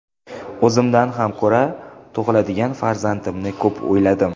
O‘zimdan ham ko‘ra tug‘iladigan farzandimni ko‘p o‘yladim.